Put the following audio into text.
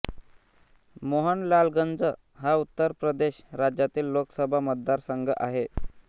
मोहनलालगंज हा उत्तर प्रदेश राज्यातील लोकसभा मतदारसंघ आहे